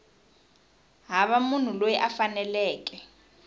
hava munhu loyi a faneleke